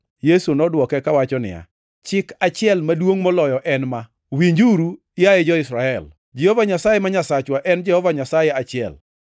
Yesu nodwoke kawacho niya, “Chik achiel maduongʼ moloyo en ma: ‘Winjuru, yaye jo-Israel, Jehova Nyasaye ma Nyasachwa en Jehova Nyasaye achiel.